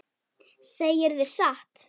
Segirðu satt?